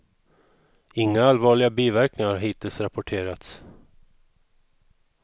Inga allvarliga biverkningar har hittills rapporterats.